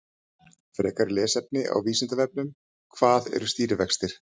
Frekara lesefni á Vísindavefnum: Hvað eru stýrivextir?